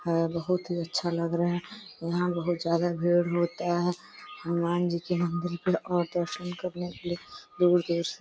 है बहोत ही अच्छा लग रहा है। यहाँ बहोत ज्यादा भीड़ होता है। हनुमान जी के मंदिर पे और दर्शन करने के लिए दूर-दूर से --